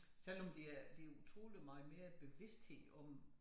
Selvom der er der utrolig meget mere bevidsthed om